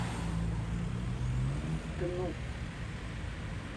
дну